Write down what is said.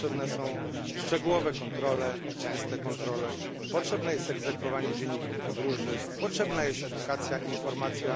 Potrzebne są szczegółowe i częste kontrole, potrzebne jest egzekwowanie dzienników podróży, potrzebna jest edukacja i informacja.